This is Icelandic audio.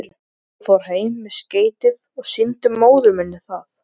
Ég fór heim með skeytið og sýndi móður minni það.